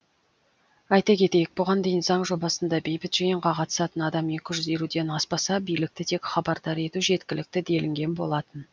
айта кетейік бұған дейін заң жобасында бейбіт жиынға қатысатын адам екі жүз елуден аспаса билікті тек хабардар ету жеткілікті делінген болатын